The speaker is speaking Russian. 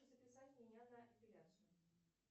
записать меня на эпиляцию